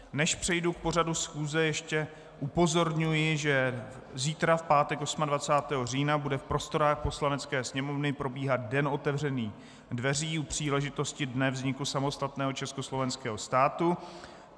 Než přejdu k pořadu schůze, ještě upozorňuji, že zítra, v pátek 28. října, bude v prostorách Poslanecké sněmovny probíhat den otevřených dveří u příležitosti Dne vzniku samostatného československého státu.